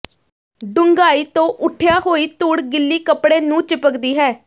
ਡੂੰਘਾਈ ਤੋਂ ਉੱਠਿਆ ਹੋਈ ਧੂੜ ਗਿੱਲੀ ਕੱਪੜੇ ਨੂੰ ਚਿਪਕਦੀ ਹੈ